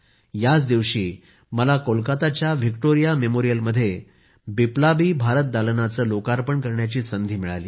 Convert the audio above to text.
याच दिवशी मला कोलकाताच्या व्हिक्टोरिया मेमोरियलमध्ये बिप्लाबी भारत दालनाचं लोकार्पण करण्याची संधी मिळाली